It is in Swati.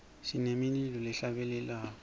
sinemilulo lehla bele lwako